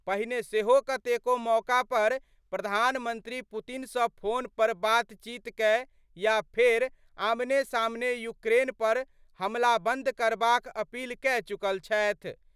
पहिने सेहो कतेको मौका पर प्रधानमंत्री पुतिन सं फोन पर बातचीत कए या फेर आमने-सामने यूक्रेन पर हमलाबंद करबाक अपील कए चुकल छथि।